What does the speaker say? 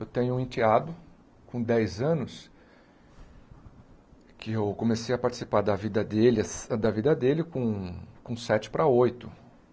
Eu tenho um enteado com dez anos que eu comecei a participar da vida dele as da vida dele com sete para oito.